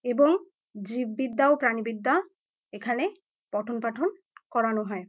এবং জীববিদ্যা ও প্রাণীবিদ্যা এখানে পঠনপাঠন করানো হয় ।